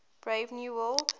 brave new world